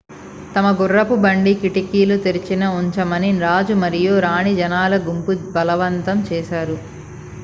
తమ గుర్రపు బండి కిటికీలు తెరిచి ఉంచమని రాజు మరియు రాణిని జనాల గుంపు బలవంతం చేశారు